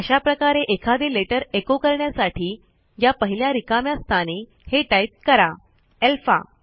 अशा प्रकारे एखादे लेटर एचो करण्यासाठी या पहिल्या रिकाम्या स्थानी हे टाईप करा अल्फा